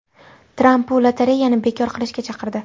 Tramp bu lotereyani bekor qilishga chaqirdi.